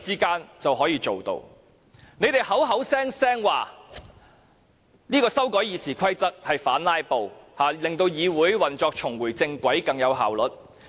建制派聲稱修改《議事規則》是要反"拉布"，令議會運作重回正軌，更有效率。